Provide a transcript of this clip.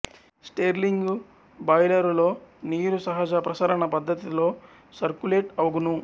Stirling బాయిలరులో నీరు సహజ ప్రసరణ పద్ధతిలో సర్కులేట్ అగును